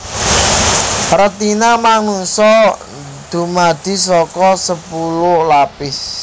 Retina manungsa dumadi saka sepuluh lapis